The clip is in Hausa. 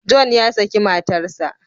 John ya saki matarsa.